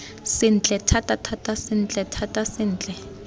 sentle thatathata sentle thata sentle